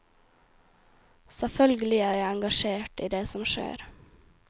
Selvfølgelig er jeg engasjert i det som skjer.